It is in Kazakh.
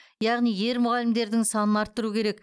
яғни ер мұғалімдердің санын арттыру керек